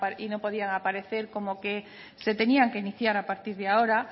y no podían aparecer como que se tenían que iniciar a partir de ahora